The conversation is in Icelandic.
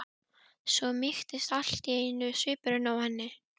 Svo mýktist allt í einu svipurinn á henni.